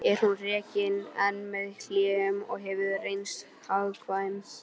Er hún rekin enn með hléum og hefur reynst hagkvæm.